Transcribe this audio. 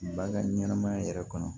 Ba ka ɲɛnɛmaya yɛrɛ kɔnɔ